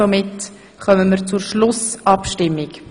Damit kommen wir zur Schlussabstimmung.